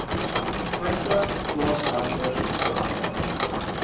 vyftig plaaswerkers oorhandig